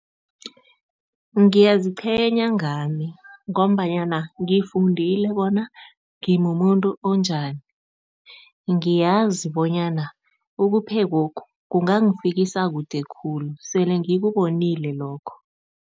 Ngiyaziqhenya ngami ngombanyana ngifundile bona ngimumuntu onjani. Ngiyazi bonyana ukuphekokhu, kungangifikisa kude khulu, sele ngikubonile lokho.